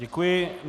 Děkuji.